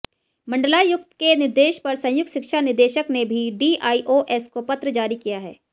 मंडलायुक्त के निर्देश पर संयुक्त शिक्षा निदेशक ने भी डीआईओएस को पत्र जारी किया है